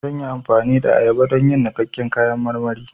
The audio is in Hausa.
Zan yi amfani da ayaba don yin niƙaƙƙen kayan marmari